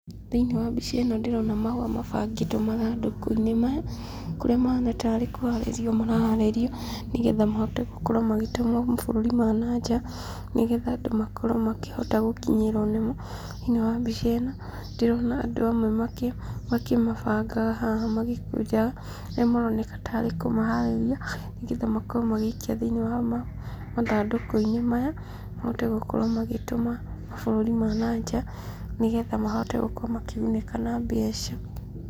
Thĩiniĩ wa mbica ĩno ndĩrona mahũa mabangĩtwo mathandũkũ-inĩ maya kũrĩa mahana ta arĩ kũharĩrio maraharĩrio nĩ getha mahote gũkorwo magĩtũmwo mabũrũri ma na nja, nĩ getha andũ makorwo makĩhota gũkinyĩrwo nĩmo.Thĩiniĩ wa mbica ĩno ndĩrona andũ amwe makĩmabangaga haha magĩkũnjaga, arĩa maroneka ta arĩ kũmaharĩrĩria nĩ getha makorwo magĩikia thĩiniĩ wa mathandũkũ-inĩ maya, mahote gũkorwo magĩtũma mabũrũri ma na nja nĩ getha mahote gũkorwo makĩgunĩka na mbeca.